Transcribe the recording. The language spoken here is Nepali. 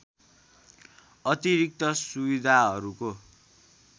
अतिरिक्त सुविधाहरूको